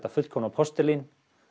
fullkomna postulín